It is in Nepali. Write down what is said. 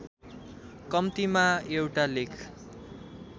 कम्तीमा एउटा लेख